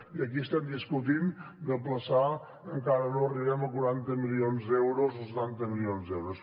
i aquí estem discutint d’aplaçar encara no arribem a quaranta milions d’euros o setanta milions d’euros